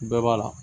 Bɛɛ b'a la